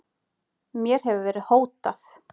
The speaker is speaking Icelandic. Mér hefur verið hótað